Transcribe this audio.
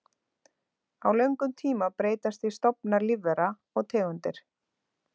Á löngum tíma breytast því stofnar lífvera og tegundir.